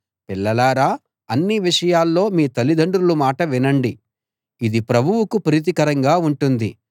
పిల్లలారా అన్ని విషయాల్లో మీ తల్లిదండ్రుల మాట వినండి ఇది ప్రభువుకు ప్రీతికరంగా ఉంటుంది